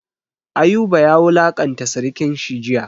Ayuba ya wulanƙanta sirikan shi jiya.